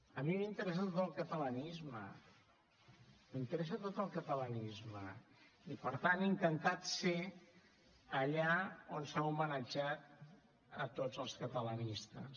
a mi m’interessa tot el catalanisme m’interessa tot el catalanisme i per tant he intentat ser allà on s’ha homenatjat a tots els catalanistes